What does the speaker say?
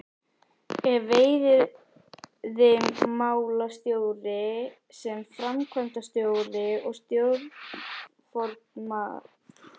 Ef veiðimálastjóri sem framkvæmdastjóri og stjórnarformaður